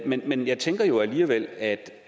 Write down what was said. men jeg tænker jo alligevel at